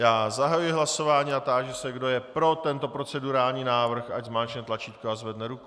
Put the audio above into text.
Já zahajuji hlasování a táži se, kdo je pro tento procedurální návrh, ať zmáčkne tlačítko a zvedne ruku.